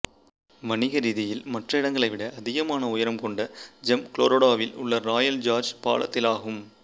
வணிக ரீதியில் மற்ற இடங்களை விட அதிகமான உயரம் கொண்ட ஜம்ப் கொலராடோவில் உள்ள ராயல் ஜார்ஜ் பால த்திலாகும்